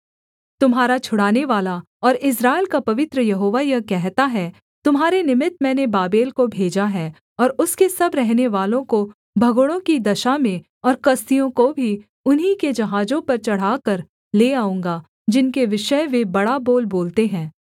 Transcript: तुम्हारा छुड़ानेवाला और इस्राएल का पवित्र यहोवा यह कहता है तुम्हारे निमित्त मैंने बाबेल को भेजा है और उसके सब रहनेवालों को भगोड़ों की दशा में और कसदियों को भी उन्हीं के जहाजों पर चढ़ाकर ले आऊँगा जिनके विषय वे बड़ा बोल बोलते हैं